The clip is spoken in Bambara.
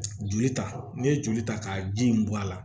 Joli ta n'i ye joli ta ka ji in bɔ a la